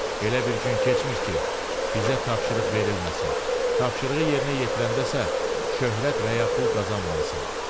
Elə bir gün keçmir ki, bizə tapşırıq verilməsin, tapşırığı yerinə yetirəndə isə şöhrət və ya pul qazanmayasan.